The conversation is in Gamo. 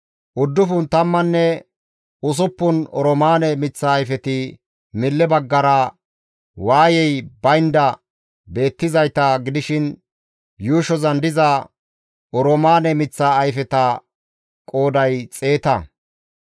Uddufun tammanne usuppun oroomaane miththa ayfeti mille baggara waayey baynda beettizayta gidishin yuushozan diza oroomaane miththa ayfeta qooday xeeta.